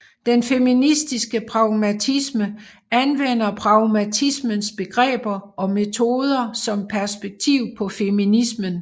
Den feministiske pragmatisme anvender pragmatismens begreber og metoder som perspektiv på feminismen